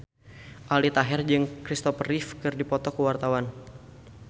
Aldi Taher jeung Kristopher Reeve keur dipoto ku wartawan